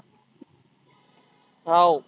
हाव.